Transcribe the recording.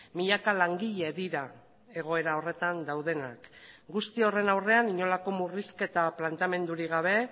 milaka langile dira egoera horretan daudenak guzti horren aurrean inolako murrizketa planteamendurik gabe